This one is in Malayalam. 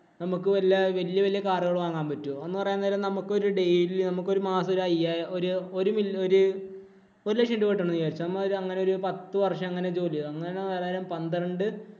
നമുക്ക് വല്ല വല്യ വല്യ കാറുകൾ വാങ്ങാൻ പറ്റുമോ? എന്ന് പറയാൻ നേരം നമുക്കൊരു daily നമുക്കൊരു മാസം ഒരു അയ്യാ ഒരു ഒരു ലക്ഷം രൂപ കിട്ടുന്നുണ്ടെന്ന് വിചാരിച്ചോ. അമ്മാതിരി അങ്ങനെ ഒരു പത്തുവര്‍ഷം അങ്ങനെ ജോലി ചെയ്‌താല്‍ അങ്ങനെ വരാന്നേരം ഒരു പന്ത്രണ്ട്